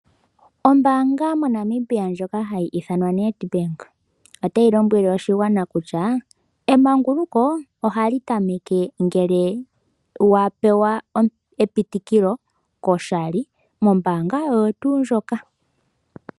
Ombanga moNamibia ndjoka hayithanwa Nedbank otayilombwele oshingwana kutya emanguluko ohalitameke ngele wapewa epitikilo koshali mombanga oyo tu ndjoka.